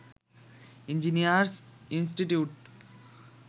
engineers institute